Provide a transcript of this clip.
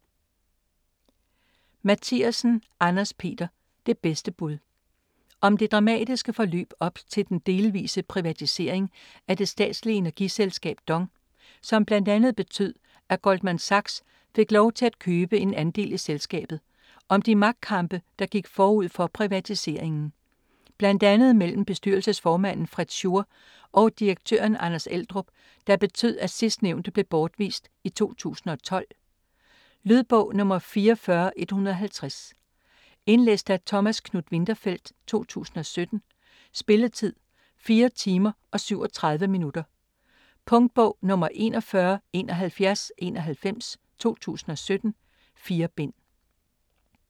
Mathiasen, Anders-Peter: Det bedste bud Om det dramatisk forløb op til den delvise privatisering af det statslige energiselskab DONG, som bl.a. betød at Goldman Sachs fik lov til at købe en andel i selskabet. Og om de magtkampe der gik forud for privatiseringen. Blandt andet mellem bestyrelsesformanden Fritz Schur og direktøren Anders Eldrup, der betød at sidstnævnte blev bortvist i 2012. Lydbog 44150 Indlæst af Thomas Knuth-Winterfeldt, 2017. Spilletid: 4 timer, 37 minutter. Punktbog 417191 2017. 4 bind.